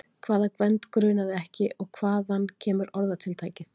Hvaða Gvend grunaði ekki og hvaðan kemur orðatiltækið?